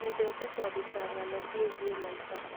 Nyendete kũandĩka ng'ano ciĩgiĩ maica.